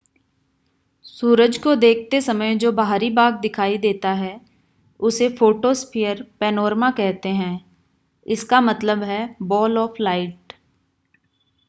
सूरज को देखते समय जो बाहरी भाग दिखाई देता है उसे फ़ोटोस्फ़ीयर पैनोरामा कहते हैं. इसका मतलब है बॉल ऑफ लाइट